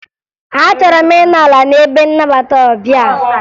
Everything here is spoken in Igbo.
Achọrọ m ịnọ ala n'ebe nnabata ọbịa